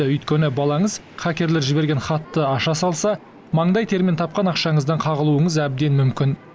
өйткені балаңыз хакерлер жіберген хатты аша салса маңдай термен тапқан ақшаңыздан қағылуыңыз әбден мүмкін